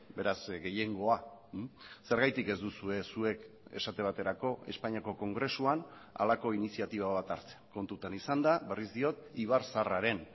beraz gehiengoa zergatik ez duzue zuek esate baterako espainiako kongresuan halako iniziatiba bat hartzen kontutan izanda berriz diot ibarzaharraren